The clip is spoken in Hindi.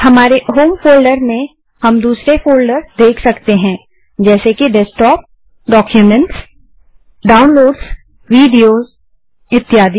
हमारे होम फोल्डर में हम दूसरे फोल्डर्स देख सकते हैं जैसे कि डेस्कटॉप डाक्यूमेंट्स डाउनलोड्स विडियो इत्यादि